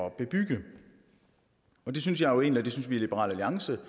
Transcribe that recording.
at bebygge det synes jeg og det synes vi i liberal alliance